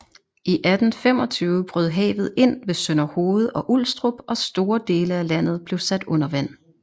I 1825 brød havet ind ved Sønderhoved og Ulstrup og store dele af landet blev sat under vand